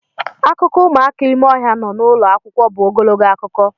Akụkọ ụmụaka ime ohia nọ n'ụlọ akwụkwọ bụ ogologo akụkọ.